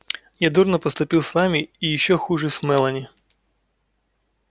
я дурно поступил с вами и ещё хуже с мелани